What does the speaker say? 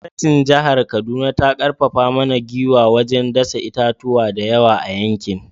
Gwamnatin jihar Kaduna ta karfafa mana gwiwa wajen dasa itatuwa da yawa a yankin